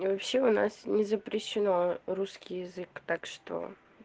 вообще у нас не запрещено русский язык так что